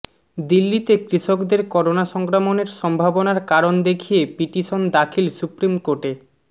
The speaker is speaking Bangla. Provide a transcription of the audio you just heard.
দিল্লিতে কৃষকদের করোনা সংক্রমণের সম্ভাবনার কারণ দেখিয়ে পিটিশন দাখিল সুপ্রিম কোর্টে